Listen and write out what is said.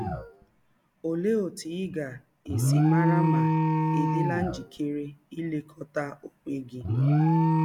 Ọlee ọtụ ị ga - esi mara ma ị̀ dịla njịkere ilekọta ọnwe gị?